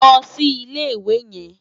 Ló si Ilé Iwé yèn